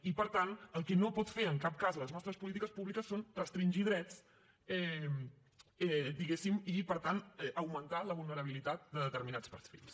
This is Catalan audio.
i per tant el que no poden fer en cap les nostres polítiques públiques és restringir drets diguéssim i per tant augmentar la vulnerabilitat de determinats perfils